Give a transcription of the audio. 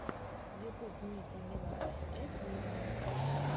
ютуб ники минаж эт виво